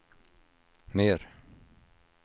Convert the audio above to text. mer